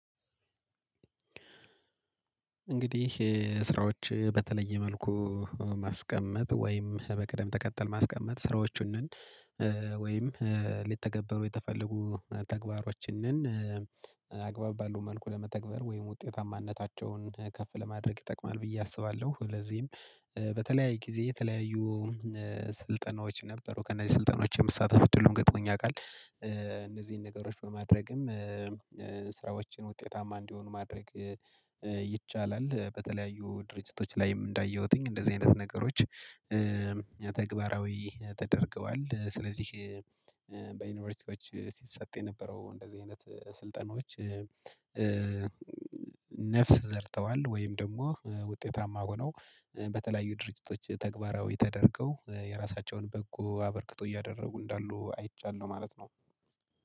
እንግዲህ ስራዎች በተለየ መልኩ ማስቀመጥ ወይም በቅደም ተከተል ማስቀመጥ ስራዎቹን ወይም ሊተገበሩ የተፈለጉ ተግባሮችን አግባብ ባለው መልኩ ለመተግበር ወይም ውጤታማነታቸውን ከፍ ለማድረግ ይጠቅማል ብዬ አስባለሁ፤ ለዚህም በተለያየ ጊዜ የተለያዩ ስልጠናዎች ነበሩ ከነዚህ ስልጠናዎች የምትሳተፉት ሁሉንም ገጥሞኝ ያውቃል እነዚህን ነገሮች በማድረግም ስራዎችን ውጤታማ እንዲሆኑ ማድረግ ይቻላል። በተለያዩ ድርጅቶች ላይም እንዳየሁትኝ እንደዚህ አይነት ነገሮች ተግባራዊ ተደርገዋል ስለዚህ በዩኒቨርሲቲዎች ሲሰጥ የነበረው እንደዚህ አይነት ስልጠናዎች ነፍስ ዘርተዋል ወይም ደግሞ ውጤታማ ሆነው በተለያዩ ድርጅቶች ተግባራዊ ተደርገው የራሳቸውን በጎ አበርክቶ እያደረጉ እንዳሉ አይቻለሁ ማለት ነው።